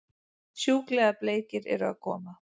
Sjúklega bleikir eru að koma!